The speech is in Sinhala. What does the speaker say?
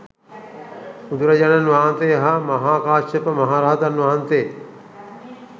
බුදුරජාණන් වහන්සේ හා මහා කාශ්‍යප මහ රහතන් වහන්සේ